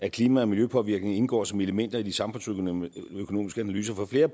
at klima og miljøpåvirkning indgår som elementer i de samfundsøkonomiske analyser for flere